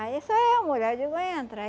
Aí só é a mulher, eu digo, entra.